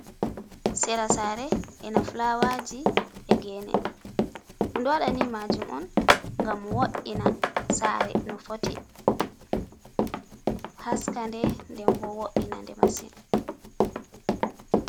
Sera sare e na flawaji, e gene. Ɗum ɗowaɗa nimajum on gam wo’ina sare no fotti, haskande den bo wo’ina nde masin.